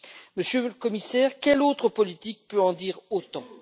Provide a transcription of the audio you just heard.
Monsieur le Commissaire, quelle autre politique peut en dire autant?